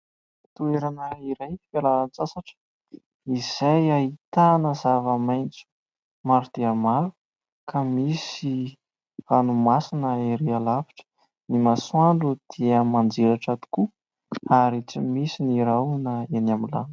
Toerana iray, fiala-tsasatra, izay ahitana zava-maintso maro dia maro, ka misy ranomasina ery alavitra, ny masoandro dia mandrelatra tokoa, ary tsy misy ny rahona eny amin'ny lanitra.